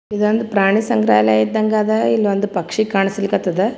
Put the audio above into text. ಇದೊಂದು ಪ್ರಾಣಿ ಸಂಗ್ರಾಲಯ ಇದಂಗ್ ಅದ್ ಇಲ್ಲೊಂದ್ ಪಕ್ಷಿ ಕಾಂಸ್ಲಿಕತ್ತದ್.